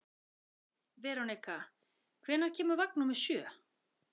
Veronika, hvenær kemur vagn númer sjö?